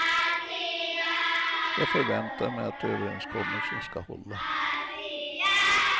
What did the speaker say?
Jag förväntar mig att överenskommelsen ska hålla.